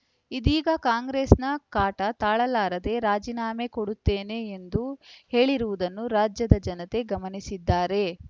ಇದೀಗ ಕಾಂಗ್ರೆಸ್‌ನ ಕಾಟ ತಾಳಲಾರದೆ ರಾಜೀನಾಮೆ ಕೊಡುತ್ತೇನೆ ಎಂದು ಹೇಳಿರುವುದನ್ನು ರಾಜ್ಯದ ಜನತೆ ಗಮನಿಸುತ್ತಿದ್ದಾರೆ